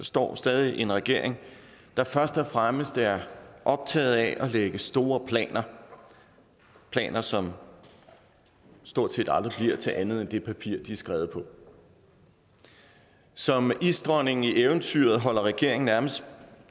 står stadig en regering der først og fremmest er optaget af at lægge store planer planer som stort set aldrig bliver til andet end det papir de er skrevet på som isdronningen i eventyret holder regeringen nærmest